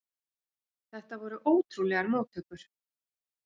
Þetta voru ótrúlegar móttökur.